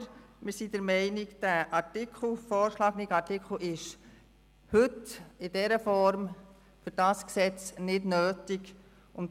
Aber wir sind der Meinung, dass der vorgeschlagene Artikel heute für dieses Gesetz in dieser Form nicht nötig ist.